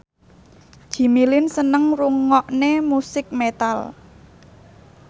Jimmy Lin seneng ngrungokne musik metal